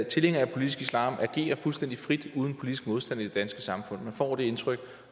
tilhængere af politisk islam agere fuldstændig frit uden politisk modstand i det danske samfund man får det indtryk